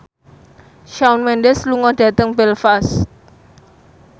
Shawn Mendes lunga dhateng Belfast